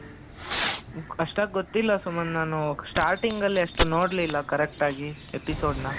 ಅಷ್ಟಾಗಿ ಗೊತ್ತಿಲ್ಲ ಸುಮಂತ್ ನಾನು starting ಅಲ್ಲಿ ಅಷ್ಟು ನೋಡಲಿಲ್ಲ correct ಆಗಿ episode ನ,